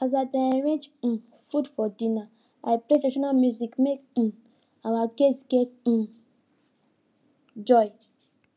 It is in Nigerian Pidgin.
as i dey arrange um food for dinner i play traditional music make um our guests get um joy